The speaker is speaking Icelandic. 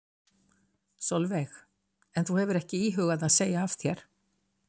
Sólveig: En þú hefur ekki íhugað að segja af þér?